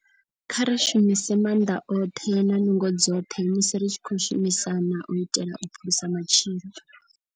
Kha ri shumise maanḓa oṱhe na nungo dzoṱhe musi ri tshi khou shumisana u itela u phulusa matshilo.